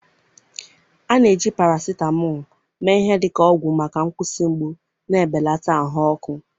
a na-eji paracetamol mee ihe dị ka ọgwụ maka nkwụsị mgbu na ibelata ahụ ọkụ.